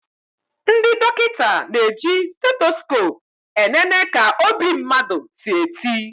Ndị dọkịta na eji stetoskope e nene ka obi mmadụ si eti